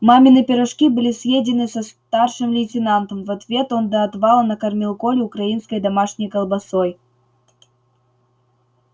мамины пирожки были съедены со старшим лейтенантом в ответ он до отвала накормил колю украинской домашней колбасой